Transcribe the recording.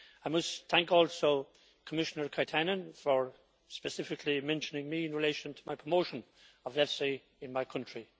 I must thank also Commissioner Katainen for specifically mentioning me in relation to my promotion of EFSI in my country.